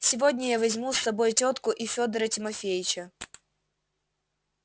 сегодня я возьму с собой тётку и федора тимофеича